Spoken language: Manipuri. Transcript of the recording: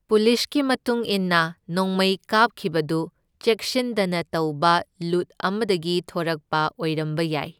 ꯄꯨꯂꯤꯁꯀꯤ ꯃꯇꯨꯡ ꯏꯟꯅ ꯅꯣꯡꯃꯩ ꯀꯥꯞꯈꯤꯕꯗꯨ ꯆꯦꯛꯁꯤꯟꯗꯅ ꯇꯧꯕ ꯂꯨꯠ ꯑꯃꯗꯒꯤ ꯊꯣꯔꯛꯄ ꯑꯣꯢꯔꯝꯕ ꯌꯥꯢ꯫